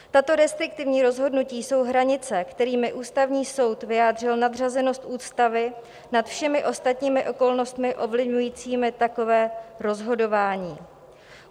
Tato restriktivní rozhodnutí jsou hranice, kterými Ústavní soud vyjádřil nadřazenost ústavy nad všemi ostatními okolnostmi ovlivňujícími takové rozhodování.